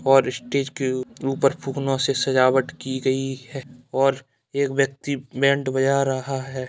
और स्टेज के ऊ-ऊपर फुकनो से सजावट की गई है और एक व्यक्ति बैंड बजा रहा है।